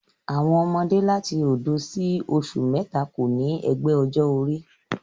Àwọn ọmọdé láti òdo sí oṣù mẹ́ta kò ní ẹgbẹ́ ọjọ́ orí